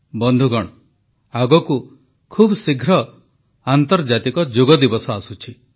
ବନ୍ଧୁଗଣ ଆଗକୁ ଖୁବଶୀଘ୍ର ଆନ୍ତର୍ଜାତିକ ଯୋଗ ଦିବସ ଆସୁଛି